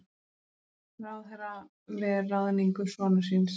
Ráðherra ver ráðningu sonar síns